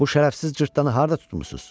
Bu şərəfsiz cırtdanı harda tutmusuz?